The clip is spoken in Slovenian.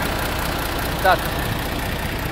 In ta trenutek.